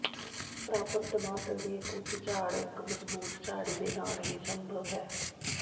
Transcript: ਪ੍ਰਾਪਤ ਟਮਾਟਰ ਦੀ ਇੱਕ ਉੱਚ ਝਾੜ ਇੱਕ ਮਜ਼ਬੂਤ ਝਾੜੀ ਦੇ ਨਾਲ ਹੀ ਸੰਭਵ ਹੈ